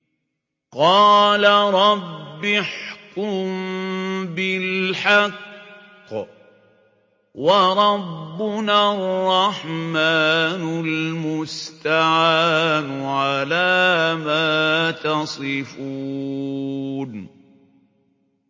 قَالَ رَبِّ احْكُم بِالْحَقِّ ۗ وَرَبُّنَا الرَّحْمَٰنُ الْمُسْتَعَانُ عَلَىٰ مَا تَصِفُونَ